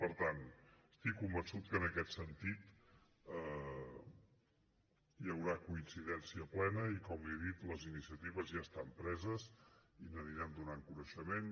per tant estic convençut que en aquest sentit hi haurà coincidència plena i com li he dit les iniciatives ja estan preses i n’anirem donant coneixement